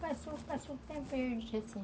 Passou, passou o tempo aí